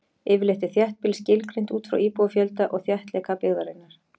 Yfirleitt er þéttbýli skilgreint út frá íbúafjölda og þéttleika byggðarinnar.